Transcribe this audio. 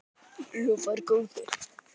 Lofar góðu!